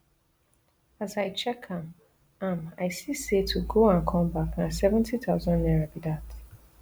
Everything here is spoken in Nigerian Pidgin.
as i check am am i see say to go and come back na seventy thousand naira be dat